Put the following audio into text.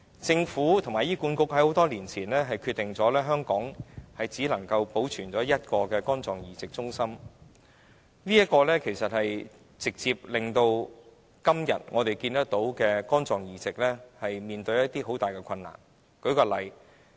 政府和醫管局在多年前已決定在香港只保存一個肝臟移植中心，這直接造成我們今天看到的肝臟移植所面對的困難。